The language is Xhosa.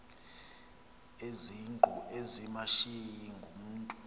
izingqu ezimashiyi ngumntu